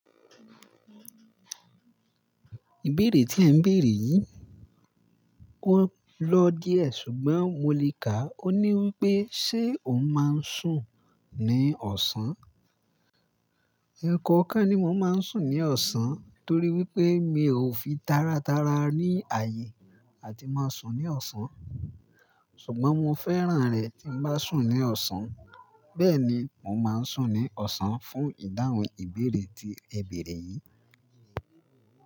Ìbéèrè tí ẹ̀ ń béèrè yìí ó lọ́ díẹ̀ ṣùgbọ́n mo le kà á. Ó ní wípé, ṣé ò máa ń sùn ní ọ̀sán? Ẹ̀kọ̀ọ̀kan ni mo máa ń sùn ní ọ̀sán torí wípé mi ò fi tára tára ní ààyè láti máa sùn ní ọ̀sán. Ṣùgbọ́n mo fẹ́ràn rẹ̀ tí n bá sùn ní ọ̀sán. Bẹ́ẹ̀ ni, mo máa ń sùn ní ọ̀sán fún ìdáhùn ìbéèrè tí ẹ béèrè yìí.